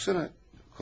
Baxsana.